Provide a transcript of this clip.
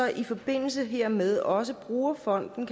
i forbindelse hermed også bruger fonden